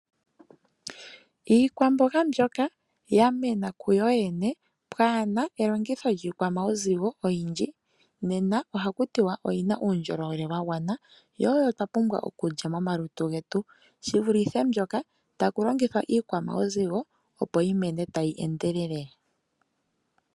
Iikwamboga mbyoka ya mena kuyo yene kaapuna elongitho lyiikwamauzigo oyindji nena oha ku tiwa oyina uundjolowele wa gwana yo oyo twa pumbwa okulya momalutu getu shivulithe mbyoka ta ku longithwa iikwamauzigo opo yi mene tayi endelele.